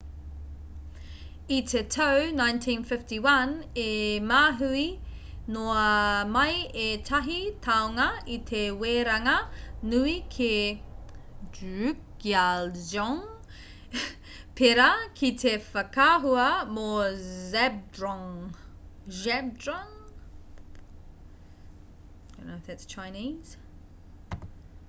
i te tau 1951 i mahue noa mai ētahi tāonga i te weranga nui ki drukgyal dzong pērā ki te whakaahua mō zhabdrung